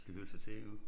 Det hørte sig til jo ikke